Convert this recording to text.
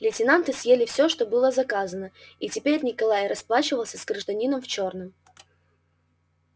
лейтенанты съели всё что было заказано и теперь николай расплачивался с гражданином в чёрном